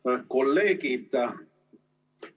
Head kolleegid!